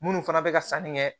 Munnu fana bɛ ka sanni kɛ